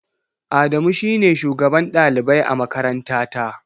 Adamu shi ne shugaban ɗalibai a makarantata.